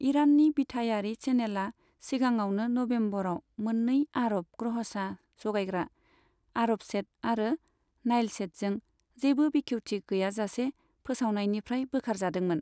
इरान्नि बिथायारि चेनेलआ सिगाङावनो नभेम्बराव मोन्नै आरब ग्रहसा जगायग्रा, आरबसेट आरो नाइलसेटजों जेबो बेखेवथि गैयाजासे फोसावनायनिफ्राय बोखारजादोंमोन।